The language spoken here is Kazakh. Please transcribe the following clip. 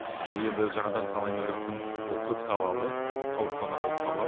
бұл енді жаңадан салынайын деп жатқан ол көпсалалы аурухана болып табылады